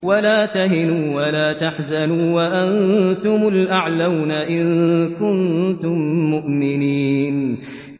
وَلَا تَهِنُوا وَلَا تَحْزَنُوا وَأَنتُمُ الْأَعْلَوْنَ إِن كُنتُم مُّؤْمِنِينَ